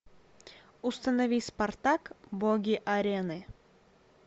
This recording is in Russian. установи спартак боги арены